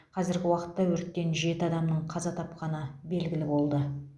қазіргі уақытта өрттен жеті адамның қаза тапқаны белгілі болды